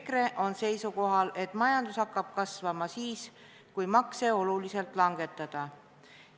EKRE on seisukohal, et majandus hakkab kasvama siis, kui makse oluliselt langetada.